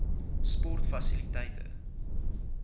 sportfasiliteite